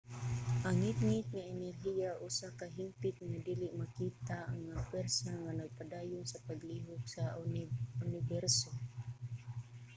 ang ngitngit nga enerhiya usa ka hingpit nga dili makita nga pwersa nga nagpadayon sa paglihok sa uniberso